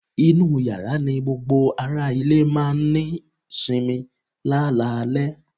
inú yàrá ní gbogbo ará ilé máà ń ní sinmi lálalẹ́